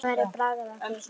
Það væri bragð af því!